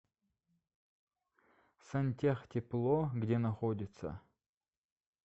сантехтепло где находится